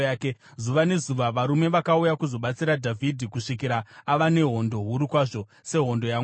Zuva nezuva varume vakauya kuzobatsira Dhavhidhi kusvikira ava nehondo huru kwazvo, sehondo yaMwari.